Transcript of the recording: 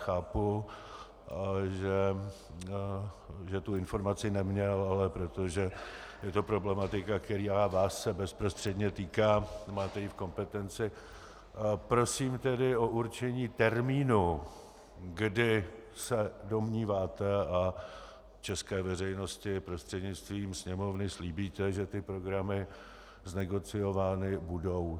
Chápu, že tu informaci neměl, ale protože je to problematika, která se vás bezprostředně týká, máte ji v kompetenci, prosím tedy o určení termínu, kdy se domníváte a české veřejnosti prostřednictvím Sněmovny slíbíte, že ty programy znegociovány budou.